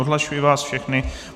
Odhlašuji vás všechny.